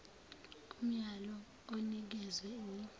umyalo onikezwe yi